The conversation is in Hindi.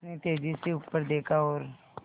उसने तेज़ी से ऊपर देखा और